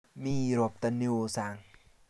Mi ropta ne oo sang'